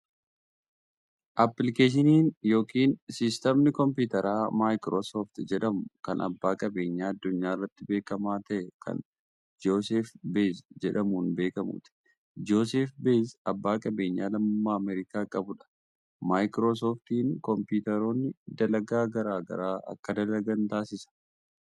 Appilikeeshiniin yokin siistamni koompitaraa maayikroo sooft jedhamuu kan abbaa qabeenyaa addunyaa irratti beekamaa ta'ee kan Jooseef Beez jedhamuun beekamuuti. Jooseef Beez abbaa qabeenyaa lammummaa Ameerikaa qabuu dha. Maaykiroo sooftiin kompiitaroonni dalagaa garaa garaa akka dalagan taasisa.